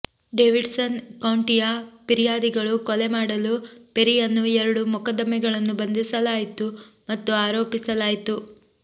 Davidson ಕೌಂಟಿಯ ಫಿರ್ಯಾದಿಗಳು ಕೊಲೆ ಮಾಡಲು ಪೆರಿಯನ್ನು ಎರಡು ಮೊಕದ್ದಮೆಗಳನ್ನು ಬಂಧಿಸಲಾಯಿತು ಮತ್ತು ಆರೋಪಿಸಲಾಯಿತು